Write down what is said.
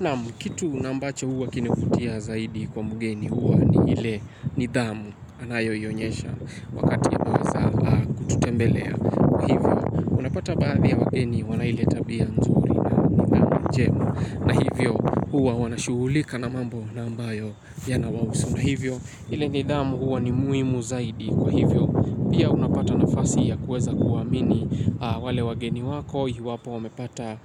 Naam, kitu ambacho huwa kinavutia zaidi kwa mgeni huwa ni ile nidhamu anayoionyesha wakati wa kuweza kututembelea. Hivyo unapata baadhi ya wageni wana ile tabia nzuri na njema na hivyo huwa wanashughulika na mambo ambayo yanawahusu. Na hivyo, ile nidhamu huwa ni muhimu zaidi kwa hivyo. Pia unapata nafasi ya kuweza kuwaamini wale wageni wako. Iwapo, wamepata